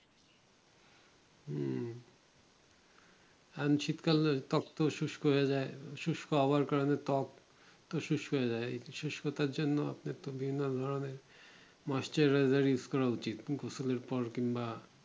হম বঞ্চিত কারণে তত্বক শুস্ক হয়ে যাই শুস্ক হবার কারণে ত্বক তো শুস্ক হয়ে যাই এই শুস্কতার জন্য আপনি তো বিভিন্ন ধরণের moisturizer করা উচিত পর কিংবা